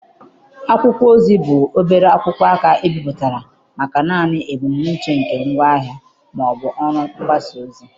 Akwụkwọ ozi bụ obere akwụkwọ aka ebipụtara maka naanị ebumnuche nke ngwaahịa ma ọ bụ ọrụ mgbasa ozi